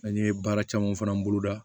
An ye baara camanw fana bolo da